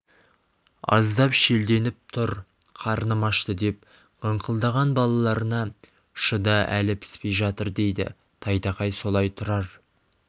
аздап шелденіп тұр қарным ашты деп қыңқылдаған балаларына шыда әлі піспей жатыр дейді тайтақай солай тұрар